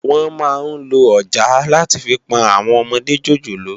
Wòn má n ló òjàá làtí fi pòn áwòn òmòdé jójólóò